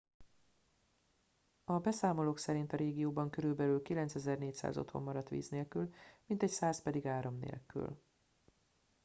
a beszámolók szerint a régióban körülbelül 9400 otthon maradt víz nélkül mintegy 100 pedig áram nélkül